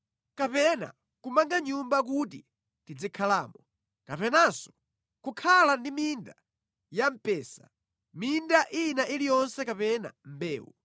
kapena kumanga nyumba kuti tizikhalamo kapenanso kukhala ndi minda ya mpesa, minda ina iliyonse kapena mbewu.